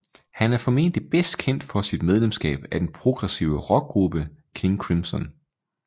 Han er formentlig bedst kendt for sit medlemskab af den progressive rockgruppe King Crimson